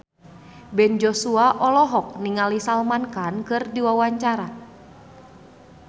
Ben Joshua olohok ningali Salman Khan keur diwawancara